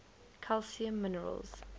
calcium minerals